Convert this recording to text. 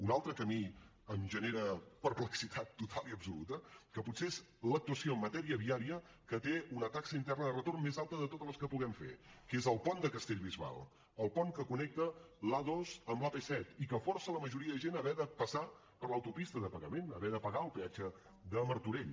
una altra que a mi em genera perplexitat total i absoluta que potser és l’actuació en matèria viaria que té una taxa interna de retorn més alta de totes les que puguem fer és el pont de castellbisbal el pont que connecta l’a dos amb l’ap set i que força la majoria de gent a haver de passar per l’autopista de pagament haver de pagar el peatge de martorell